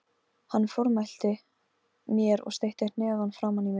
Hann formælti mér og steytti hnefann framan í mig.